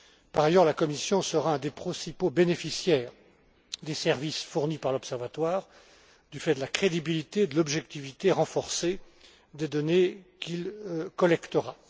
Par ailleurs, la Commission sera un des principaux bénéficiaires des services fournis par l'Observatoire, du fait de la crédibilité et de l'objectivité renforcée des données qu'il collectera.